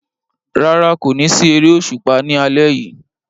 Rárá, kò ní sí eré òṣùpá ní alẹ́ yìí